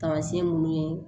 Taamasiyɛn munnu ye